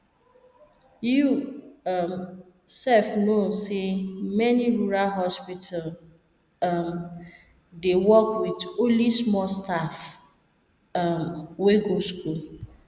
you um sef know say many rural hospital um dey work with only small staff um wey go school